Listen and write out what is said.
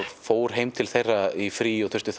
fór heim til þeirra í frí og þurfti